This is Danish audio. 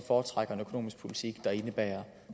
foretrækker en økonomisk politik der indebærer